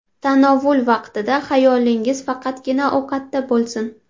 Tanovul vaqtida xayolingiz faqatgina ovqatda bo‘lsin.